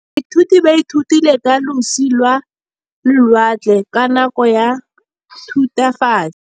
Baithuti ba ithutile ka losi lwa lewatle ka nako ya Thutafatshe.